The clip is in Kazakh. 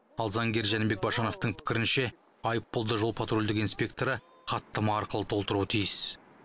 ал заңгер жәнібек башановтың пікірінше айыппұлды жол патрульдік инспекторы хаттама арқылы толтыруы тиіс